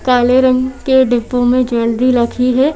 काले रंग डिब्बो में ज्वेलरी रखी है।